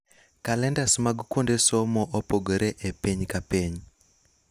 Kalendas mag kuonde somo opogore epiny kapiny.